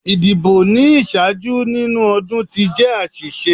Idibo ni iṣaaju ninu ọdun ti jẹ aṣiṣe